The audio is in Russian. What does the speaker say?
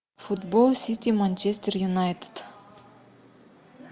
футбол сити манчестер юнайтед